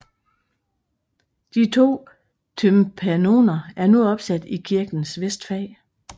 De to tympanoner er nu opsat i kirkens vestfag